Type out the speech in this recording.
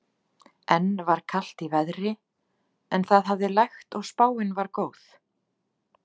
Enn var kalt í veðri en það hafði lægt og spáin var góð.